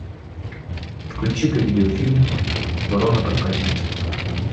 включи ка видеофильм ворона проказница